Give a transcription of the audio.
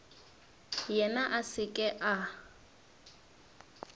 yena a se ke a